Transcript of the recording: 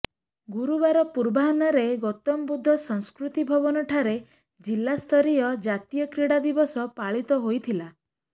ଗୁରୁବାର ପୂର୍ବାହ୍ନରେ ଗୈାତମ ବୁଦ୍ଧ ସଂସ୍କୃତି ଭବନ ଠାରେ ଜିଲ୍ଲା ସ୍ତରୀୟ ଜାତୀୟ କ୍ରୀଡା ଦିବସ ପାଳିତ ହୋଇଥିଲା